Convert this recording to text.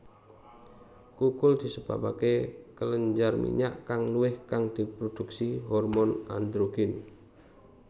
Kukul disebabaké kelenjar minyak kang luwih kang diprodhuksi hormon androgen